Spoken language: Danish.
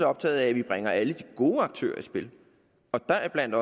optaget af at vi bringer alle de gode aktører i spil deriblandt